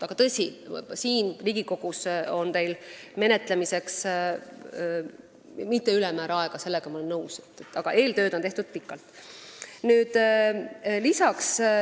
Tõsi, siin Riigikogus ei ole teil menetlemiseks ülemäära palju aega, sellega ma olen nõus, aga eeltööd on tehtud pikalt.